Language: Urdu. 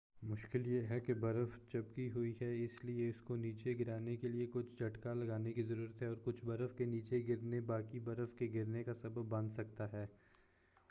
مشکل یہ ہے کہ برف چپکی ہوئی ہے اس لیے اس کو نیچے گرانے کے لئے کچھ جھٹکا لگانے کی ضرورت ہے اور کچھ برف کا نیچے گرنا باقی برف کے گرنے کا سبب بن سکتا ہے